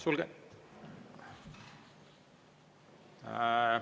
Suur tänu!